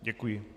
Děkuji.